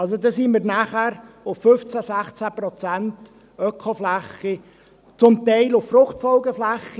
Also, da sind wir nachher bei 15, 16 Prozent Ökofläche, zum Teil auf Fruchtfolgeflächen.